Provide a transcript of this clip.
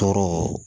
Tɔɔrɔ